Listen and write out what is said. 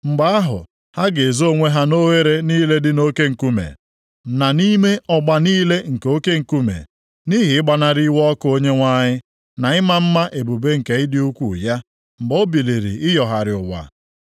Mgbe ahụ, ha ga-ezo onwe ha nʼoghere niile dị nʼoke nkume, na nʼime ọgba niile nke oke nkume nʼihi ịgbanarị iwe ọkụ Onyenwe anyị, na ịma mma ebube nke ịdị ukwuu ya, mgbe o biliri ịyọgharị ụwa.